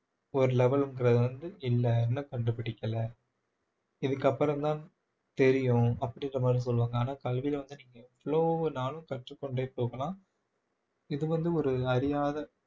ஒரு level ங்கிறது வந்து இல்லை இன்னும் கண்டு பிடிக்கலை இதுக்கு அப்புறம்தான் தெரியும் அப்படின்ற மாதிரி சொல்லுவாங்க ஆனா கல்வியில வந்து நீங்க எவ்ளோனாலும் கற்றுக் கொண்டே போகலாம் இது வந்து ஒரு அறியாத